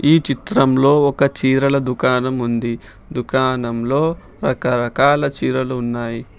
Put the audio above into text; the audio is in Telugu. ఈ చిత్రంలో ఒక చీరల దుకాణం ఉంది దుకాణంలో రకరకాల చీరలు ఉన్నాయ్.